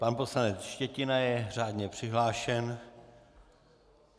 Pan poslanec Štětina je řádně přihlášen.